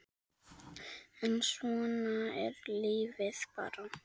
En svona er lífið bara.